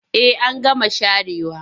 Eh an gama sharewa.